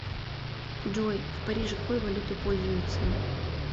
джой в париже какой валютой пользуются